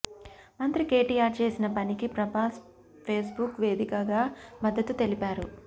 మంత్రి కేటీఆర్ చేసిన పనికి ప్రభాస్ ఫేస్బుక్ వేదికగా మద్దతు తెలిపారు